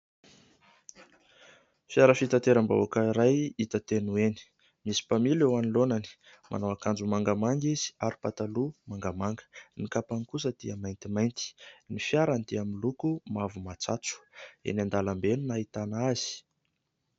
Fiara fitateram-bahoaka iray hita teny ho eny. Misy mpamily ao anoloany, manao akanjo mangamanga izy ary pataloha mangamanga, ny kapany kosa dia maintimainty. Ny fiarany dia miloko mavo matsatso, eny an-dalambe no nahitana azy.